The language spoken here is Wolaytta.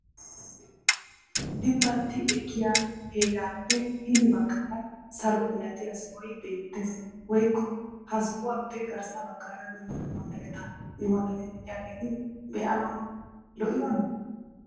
dibbati ekkiya heerappe hini baggaara salo malatiya sohoy beettes woykko ha sohuwappe garssa baggaara duma dumma mereta imotatti de'iyaageeti be'anaw lo''iyoona?